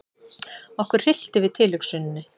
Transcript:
Okkur hryllti við tilhugsuninni.